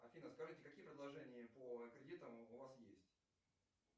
афина скажите какие предложения по кредитам у вас есть